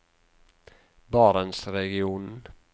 barentsregionen